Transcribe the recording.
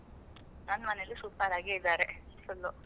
ನನ್ ಮನೇಲೂ super ಆಗೇ ಇದಾರೆ full.